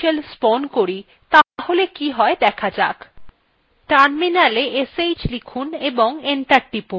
যদি আমরা একটি নতুন subshell spawn করি তাহলে কি হয় দেখা যাক terminala sh লিখুন এবং enter টিপুন